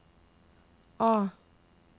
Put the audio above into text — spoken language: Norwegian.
A